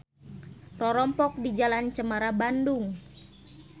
Rorompok di Jl.Cemara Bandung.